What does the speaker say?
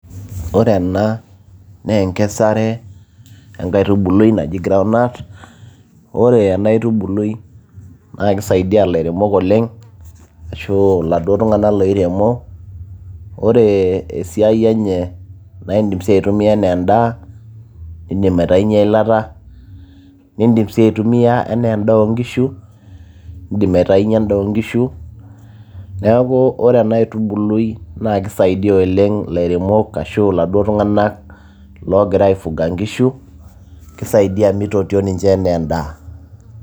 ore ena naa enkesare enkaitubului naji ground nut, ore ena aitubului naa kisaidia ilairemok oleng ashu iladuo tung'anak loiremo ore esiai enye naa indim sii aitumia enaa endaa indim aitainyie eilata nindim sii aitumiyia enaa endaa oonkishu indim aitainyie endaa oonkishu neeku ore ena aitubului naa kisaidia oleng ilairemok ashu iladuo tung'anak loogira aifuga inkishu kisaidia mitotio ninche enaa endaa.